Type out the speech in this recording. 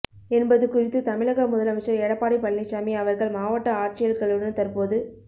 என்பது குறித்து தமிழக முதலமைச்சர் எடப்பாடி பழனிச்சாமி அவர்கள் மாவட்ட ஆட்சியர்களுடன் தற்போது